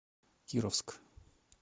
кировск